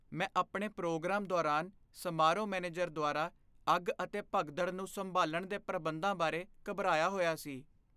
ਮੈਂ ਆਪਣੇ ਪ੍ਰੋਗਰਾਮ ਦੌਰਾਨ ਸਮਾਰੋਹ ਮੈਨੇਜਰ ਦੁਆਰਾ ਅੱਗ ਅਤੇ ਭਗਦੜ ਨੂੰ ਸੰਭਾਲਣ ਦੇ ਪ੍ਰਬੰਧਾਂ ਬਾਰੇ ਘਬਰਾਇਆ ਹੋਇਆ ਸੀ।